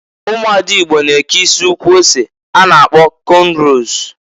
Umuada Igbo na-eke isi ukwu ose a na-agkpọ kọnros.